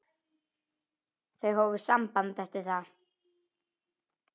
Þau hófu samband eftir það.